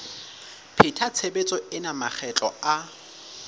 pheta tshebetso ena makgetlo a